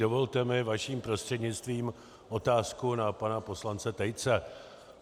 Dovolte mi vaším prostřednictvím otázku na pana poslance Tejce.